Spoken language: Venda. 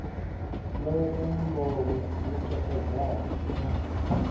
ḽora muḽoro u takadzaho na